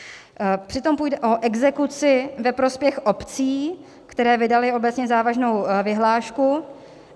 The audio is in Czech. Přitom půjde o exekuci ve prospěch obcí, které vydaly obecně závaznou vyhlášku.